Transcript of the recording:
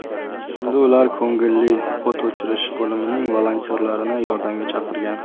Shunda ular ko‘ngilli o‘t o‘chirish bo‘limining volontyorlarini yordamga chaqirgan.